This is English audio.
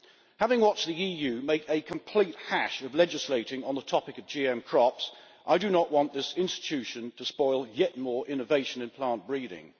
Having watched the EU make a complete hash of legislating on the topic of GM crops, I do not want this institution to spoil yet more innovation in plant breeding.